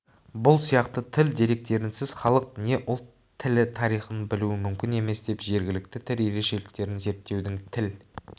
бұл сияқты тіл деректерінсіз халық не ұлт тілі тарихын білу мүмкін емес деп жергілікті тіл ерекшеліктерін зерттеудің тіл